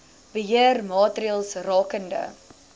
beheer maatreëls rakende